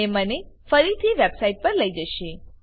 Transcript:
અને મને ફરીથી વેબ સાઈટ પર લઇ જશે